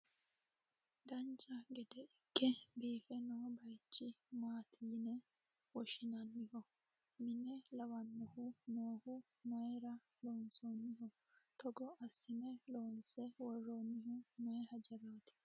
dancha gede ikke biife noo bayeechi maati yine woshshinanniho? mine lawannohu noohu mayeera lonsoonniho? togo assine loonse worroonnihu maye hajaraati?